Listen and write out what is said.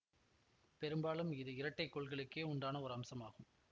பெரும்பாலும் இது இரட்டை கோள்களுக்கே உண்டான ஒரு அம்சமாகும்